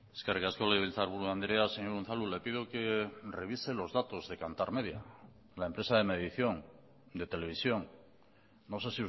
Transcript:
eskerrik asko legebiltzarburu andrea señor unzalu le pido que revise los datos de kantar media la empresa de medición de televisión no sé